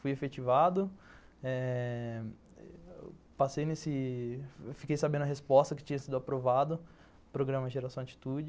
Fui efetivado eh, passei nesse... Fiquei sabendo a resposta que tinha sido aprovado, programa Geração Atitude.